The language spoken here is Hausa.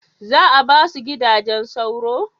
Za a ba su gidajen sauro?